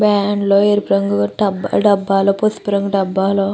van లో డబ్బాలు ఎరుపు రంగు డబ్బాలు పసుపు రంగు డబ్బాలు --